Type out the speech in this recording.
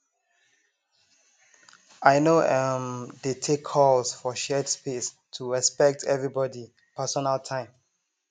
i no um dey take calls for shared space to respect everybody personal time